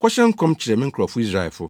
‘Kɔhyɛ nkɔm kyerɛ me nkurɔfo Israelfo.’